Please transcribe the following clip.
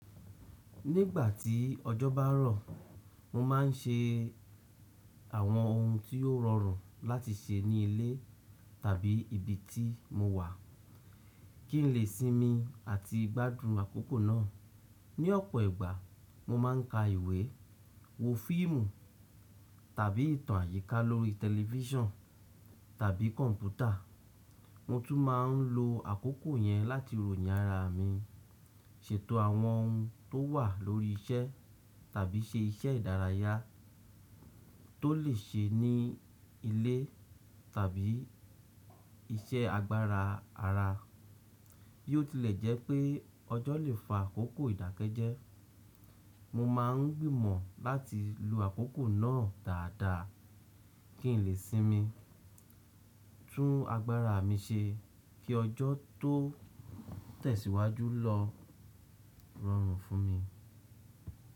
Nígbà tí ọjọ́ bá rọ̀, mo máa n ṣe àwọn ohun tí yó rọrùn láti ṣe ní ilé tàbí ibi tí mo wà, kí n lè sinmi àti gbádùn àkókò náà. Ní ọ̀pọ̀ ìgbà, mo má n ka ìwé, wo fíìmù tàbí ìtàn àyíká lórí tẹlifísàn tàbí kọ̀mpútà. Mo tún máa n lo àkókò yẹn láti ròyìn ara mi, ṣètò àwọn ohun tó wà lórí iṣẹ́ tàbí ṣe iṣẹ́ ìdárayá tó lè ṣe ní ilé tàbí iṣẹ́ agbára ara. Bí ó tilẹ̀ jẹ́ pé ọjọ́ lè fa àkókò ìdákẹ́jẹ́, mo máa n gbìmọ̀ láti lo àkókò náà dáadáa kí n lè sinmi, tún agbára mi ṣe kí ọjọ́ tó tẹ̀síwájú lọ rọrùn fún mi.